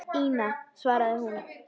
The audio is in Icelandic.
Ína, svaraði hún.